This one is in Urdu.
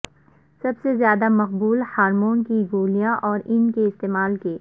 سب سے زیادہ مقبول ہارمون کی گولیاں اور ان کے استعمال کے